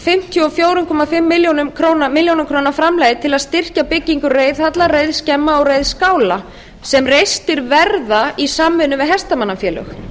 fimmtíu og fjögur og hálfa milljón króna framlagi til að styrkja byggingu reiðhalla reiðskemma og reiðskála sem reistir verða í samvinnu við hestamannafélög